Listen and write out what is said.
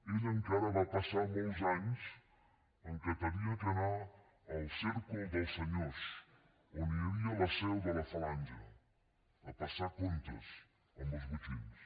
ell encara va passar molts anys que havia d’anar al cercle dels senyors on hi havia la seu de la falange a passar comptes amb els botxins